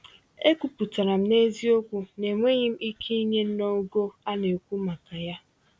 Ekwuputara m n’eziokwu na enweghị m ike inye n’ogo a nekwu maka ya.